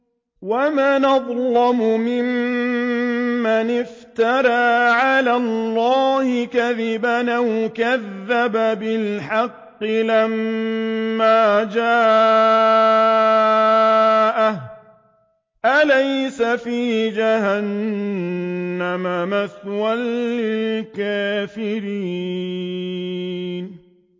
وَمَنْ أَظْلَمُ مِمَّنِ افْتَرَىٰ عَلَى اللَّهِ كَذِبًا أَوْ كَذَّبَ بِالْحَقِّ لَمَّا جَاءَهُ ۚ أَلَيْسَ فِي جَهَنَّمَ مَثْوًى لِّلْكَافِرِينَ